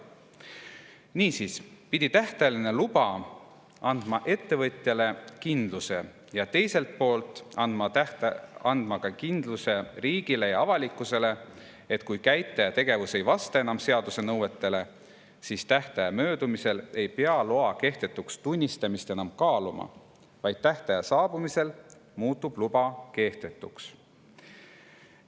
" Niisiis pidi tähtajaline luba andma kindluse ettevõtjale ning teiselt poolt kindluse riigile ja avalikkusele, et kui käitleja tegevus ei vasta enam seaduse nõuetele, siis tähtaja möödumisel ei pea loa kehtetuks tunnistamist enam kaaluma, vaid tähtaja saabumisel luba muutub kehtetuks.